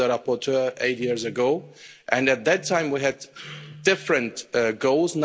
I was the rapporteur eight years ago, and at that time we had different goals.